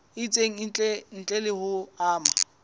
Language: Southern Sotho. itseng ntle le ho ama